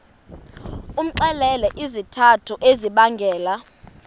umxelele izizathu ezibangela